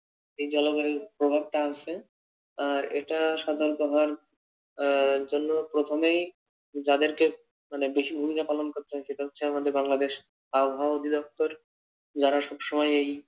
এই জলবায়ুর প্রভাবটা আসে আর এটা সাধারণত হওয়ার এর জন্য প্রথমেই যাদেরকে মানে বেশি ভুমিকা পালন করতে হচ্ছে সেটা হচ্ছে আমাদের বাংলাদেশ আবহাওয়া অধিদপ্তর যারা সব সময় এই